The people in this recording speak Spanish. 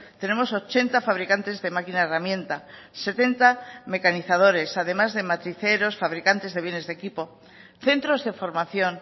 tenemos ochenta fabricantes de máquina herramienta setenta mecanizadores además de matriceros fabricantes de bienes de equipo centros de formación